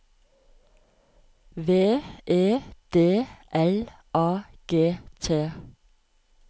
V E D L A G T